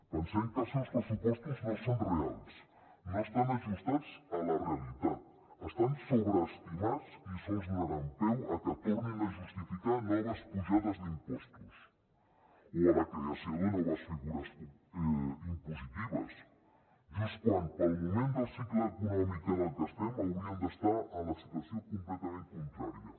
pensem que els seus pressupostos no són reals no estan ajustats a la realitat estan sobreestimats i sols donaran peu a que tornin a justificar noves pujades d’impostos o a la creació de noves figures impositives just quan pel moment del cicle econòmic en el que estem hauríem d’estar en la situació completament contrària